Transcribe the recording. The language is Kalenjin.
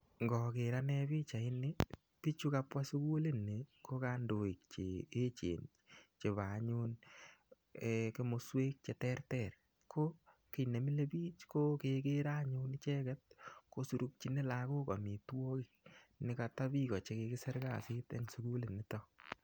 Ngoker ane pichaini, biiichu kabwa sugulini ko kandoik che echen chebo anyun komoswek che terter. ko kiy ne milei biich, ko kekerei anyun ichek kosurukchini lagok amitwagik ne kata biiko che kikisir kasit eng sukulit nitok.